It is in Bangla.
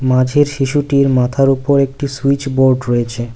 মাঝের শিশুটির মাথার উপর একটি সুইচবোর্ড রয়েছে।